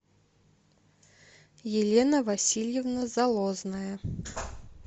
елена васильевна залозная